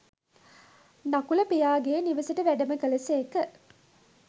නකුල පියාගේ නිවෙසට වැඩම කළ සේක